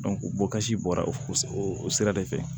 bɔkasi bɔra o sira de fɛ